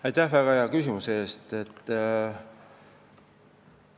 Aitäh väga hea küsimuse eest!